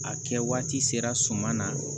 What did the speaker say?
A kɛ waati sera suma na